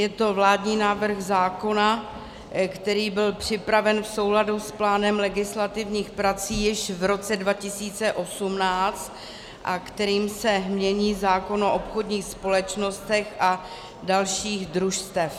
Je to vládní návrh zákona, který byl připraven v souladu s plánem legislativních prací již v roce 2018 a kterým se mění zákon o obchodních společnostech a dalších družstvech.